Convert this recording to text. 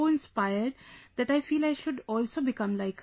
inspired that I feel I should also become like her